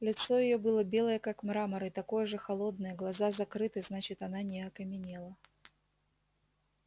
лицо её было белое как мрамор и такое же холодное глаза закрыты значит она не окаменела